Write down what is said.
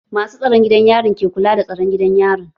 Masu tsaron gidan yarin suke kula da tsaron gidan yarin.